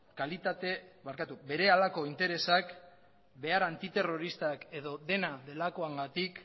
berehalako interesak behar antiterroristak edo dena delakoengatik